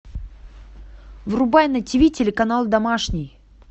врубай на тв телеканал домашний